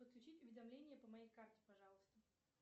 подключить уведомление по моей карте пожалуйста